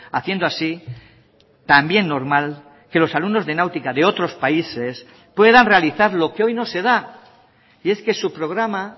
haciendo así también normal que los alumnos de náutica de otros países puedan realizar lo que hoy no se da y es que su programa